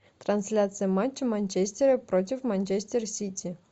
трансляция матча манчестера против манчестер сити